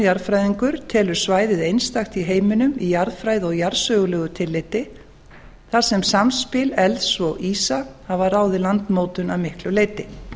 jarðfræðingur telur svæðið einstakt í heiminum í jarðfræði og jarðsögulegu tilliti þar sem samspil elds og ísa hafa ráðið landmótun að miklu leyti